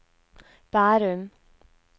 Bærum